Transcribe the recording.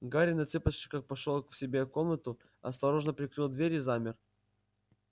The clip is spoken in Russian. гарри на цыпочках вошёл к себе в комнату осторожно прикрыл дверь и замер